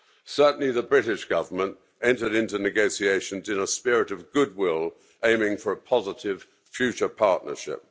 Certainly, the British government entered into negotiations in a spirit of goodwill, aiming for a positive future partnership.